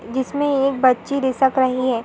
जिसमें एक बच्ची रिसक रही है।